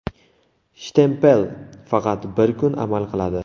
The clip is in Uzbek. Shtempel faqat bir kun amal qiladi.